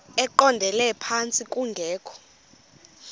eqondele phantsi kungekho